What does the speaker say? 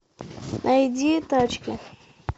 найди тачки